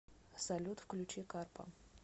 салют включи карпа